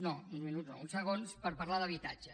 no uns minuts no uns segons per parlar d’habitatge